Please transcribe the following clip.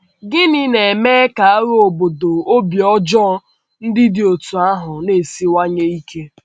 Gịnị na - eme ka agha obodo obi ọjọọ ndị dị otú ahụ na - esiwanye ike?